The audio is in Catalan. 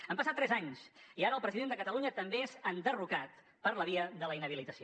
han passat tres anys i ara el president de catalunya també és enderrocat per la via de la inhabilitació